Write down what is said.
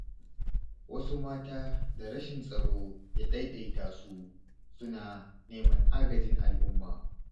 Wasu mata da rashin tsaro ya ɗaiɗata su, suna neman agajin al'umma.